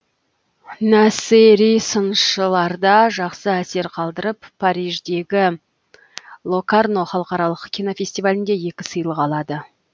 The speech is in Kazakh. насери сыншыларда жақсы әсер қалдырып париждегі локарно халықаралық кинофестивалінде екі сыйлық алады